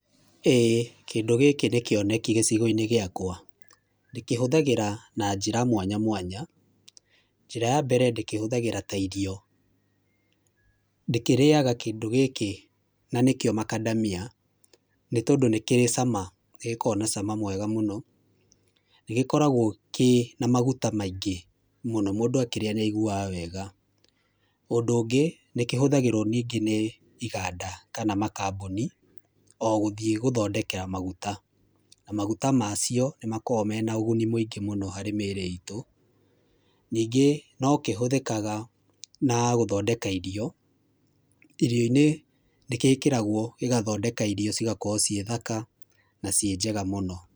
Ĩĩ kĩndũ gĩkĩ nĩ kĩoneki gĩcigo-inĩ gĩakwa. Ndĩkĩhũthagĩra na njĩra mwanya mwanya, njĩra ya mbere, ndĩkĩhũthagĩra ta irio. Ndĩkĩrĩaga kĩndũ gĩkĩ na nĩkĩo Macadamia, nĩ tondũ nĩ kĩrĩ cama, nĩ gĩkoragwo na cama mwega mũno, nĩ gĩkoragwo kĩ na maguta maingĩ mũno, mũndũ akĩrĩa nĩ aiguaga wega. Ũndũ ũngĩ, nĩ kĩhũthagĩrwo ningĩ nĩ iganda kana makambuni, o gũthiĩ gũthondekera maguta, na maguta maacio nĩmakoragwo na ũguni mũingĩ mũno harĩ mĩĩrĩ itũ. Ningĩ no kĩhũthĩkaga na gũthondeka irio, irio-inĩ nĩ gĩkĩragwo gĩgathondeka irio cigakorwo ciĩ thaka na ciĩ njega mũno.